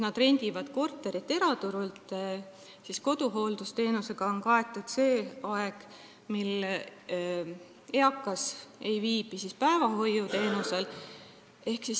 Nad rendivad korteri eraturult ja koduhooldusteenusega on kaetud see aeg, mil eakas ei saa päevahoiuteenust.